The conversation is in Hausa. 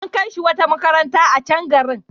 An kai shi wata makabarta a can garin.